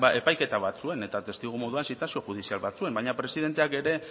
epaiketa batzuen eta testigu moduan zitazio judizial batzuen baina presidenteak ere